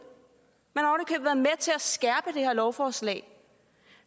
til at skærpe det her lovforslag